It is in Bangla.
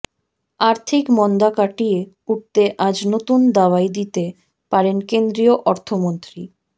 আর্থিক মন্দা কাটিয়ে উঠতে আজ নতুন দাওয়াই দিতে পারেন কেন্দ্রীয় অর্থমন্ত্রী